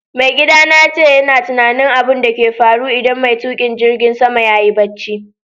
Maigida na yace yana tunani abun da ke faru idan mai tukin jirigin sama yayi barci.